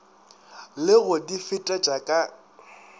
le go di fetetša ka